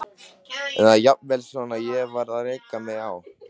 Eða jafnvel svona: Ég varð að reka mig á.